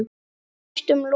Eða næstum lokið.